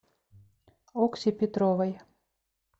окси петровой